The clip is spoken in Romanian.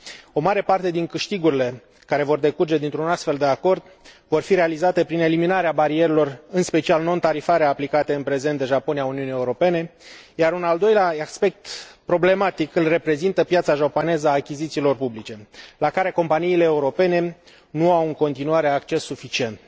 O mare parte din câștigurile care vor decurge dintr un astfel de acord vor fi realizate prin eliminarea barierelor, în special non tarifare, aplicate în prezent de Japonia Uniunii Europene, iar un al doilea aspect problematic îl reprezintă piața japoneză a achizițiilor publice, la care companiile europene nu au în continuare acces suficient.